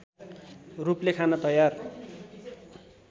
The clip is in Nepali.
रूपले खान तयार